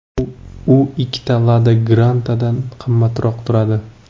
U ikkita Lada Granta’dan qimmatroq turadi.